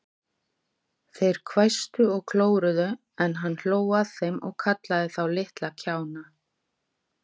Þeir hvæstu og klóruðu, en hann hló að þeim og kallaði þá litla kjána.